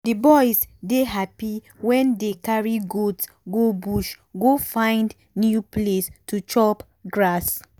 the boys dey happy wen dey carry goat go bush go find new place to chop grass